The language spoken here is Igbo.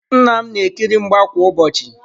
Nna m na-ekiri mgba kwa ụbọchị.